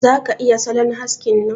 Za ka iya salon haskin nan?